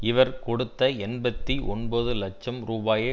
இவர் கொடுத்த எண்பத்தி ஒன்பது லட்சம் ரூபாயை